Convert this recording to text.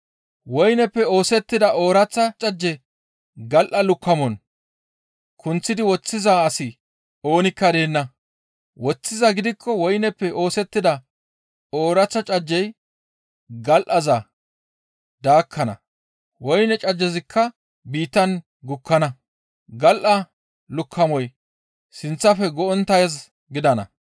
Woyneppe oosettida ooraththa cajje gal7a lukkamon kunththidi woththiza asi oonikka deenna; woththizaa gidikko woyneppe oosettida ooraththa cajjey gal7aza daakkana. Woyne cajjezikka biittan gukkana; gal7a lukkamoy sinththafe go7onttaaz gidana.